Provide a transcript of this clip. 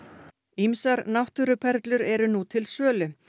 ýmsar náttúruperlur eru nú til sölu